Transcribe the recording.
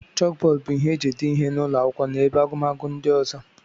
Chókbódú bụ ihe e ji ede ihe n'ụlọ akwụkwọ na ebe agụmakwụkwọ ndị ọzọ